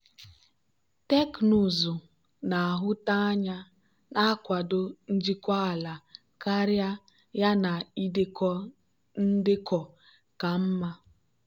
teknụzụ na-ahụta anya na-akwado njikwa ala karịa yana idekọ ndekọ ka mma.